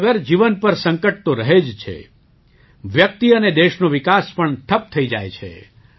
પાણી વગર જીવન પર સંકટ તો રહે જ છે વ્યક્તિ અને દેશનો વિકાસ પણ ઠપ થઈ જાય છે